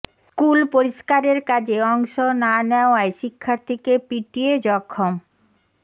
school পরিষ্কারের কাজে অংশ না নেওয়ায় শিক্ষার্থীকে পিটিয়ে জখম